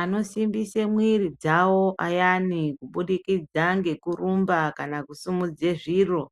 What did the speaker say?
Anosimbise mwiri dzavo ayani kubudikidza ngekurumba kana kusumudze zviro,